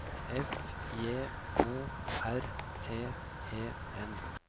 F J O R T E N